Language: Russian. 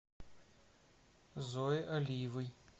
зое алиевой